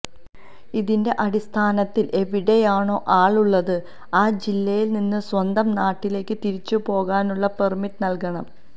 ഇതിന്റെ അടിസ്ഥാനത്തിൽ എവിടെയാണോ ആൾ ഉള്ളത് ആ ജില്ലയിൽ നിന്ന് സ്വന്തം നാട്ടിലേക്ക് തിരിച്ചുപോകാനുള്ള പെർമിറ്റ് നൽകണം